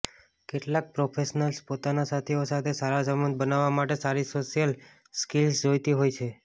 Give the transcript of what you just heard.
કેટલાક પ્રોફેશનલ્સ પોતાના સાથીઓ સાથે સારા સંબંધ બનાવવા માટે સારી સોશિયલ સ્કિલ્સ જોઈતી હોય છે